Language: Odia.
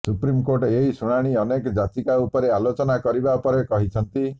ସୁପ୍ରିମକୋର୍ଟ ଏହି ଶୁଣାଣି ଅନେକ ଯାଚିକା ଉପରେ ଆଲୋଚନା କରିବା ପରେ କହିଛନ୍ତି